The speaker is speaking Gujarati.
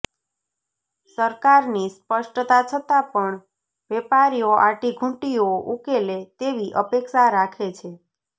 સરકારની સ્પષ્ટતા છતાં પણ વેપારીઓ આંટીઘૂંટીઓ ઉકલે તેવી અપેક્ષા રાખે છે